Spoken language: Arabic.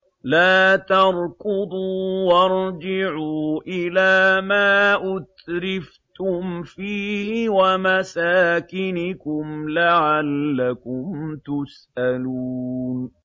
لَا تَرْكُضُوا وَارْجِعُوا إِلَىٰ مَا أُتْرِفْتُمْ فِيهِ وَمَسَاكِنِكُمْ لَعَلَّكُمْ تُسْأَلُونَ